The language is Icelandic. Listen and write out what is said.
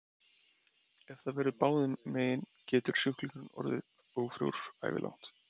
Ef það verður báðum megin getur sjúklingurinn orðið ófrjór ævilangt.